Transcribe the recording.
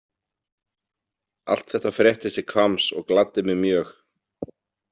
Allt þetta fréttist til Hvamms og gladdi mig mjög.